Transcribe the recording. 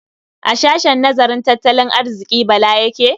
A sahshen nazarin tattalin arziƙi Bala yake?